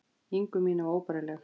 ingu mína var óbærileg.